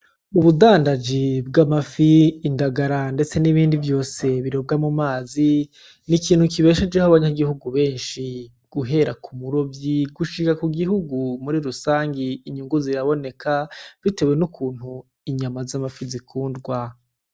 Ubudandaji bwamafi indagara ndetse n'ibindi vyose birobwa mumazi, n'ikintu kibeshejeho abanyagihugu benshi guhera kumurovyi gushika kugihugu murirusangi, Inyungu ziraboneka bitewe n'ukuntu inyama zamafi zikundwa.